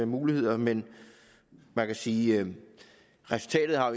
muligheder men man kan sige at resultatet